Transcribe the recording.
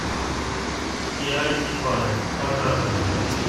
идеальные пары показывай